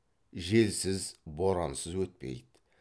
желсіз борансыз өтпейді